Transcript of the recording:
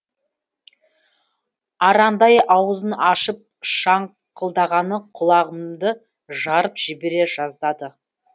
арандай ауызын ашып шаңқылдағаны құлағымды жарып жібере жаздады